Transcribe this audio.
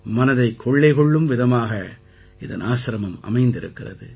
மனதைக் கொள்ளை கொள்ளும் விதமாக இதன் ஆசிரமம் அமைந்திருக்கிறது